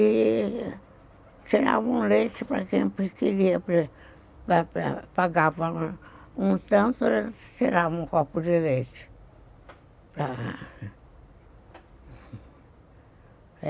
E tiravam o leite para quem queria pagar um tanto, eles tiravam um copo de leite.